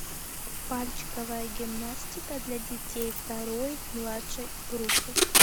пальчиковая гимнастика для детей второй младшей группы